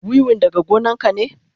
Wiwin daga gonan ka ne?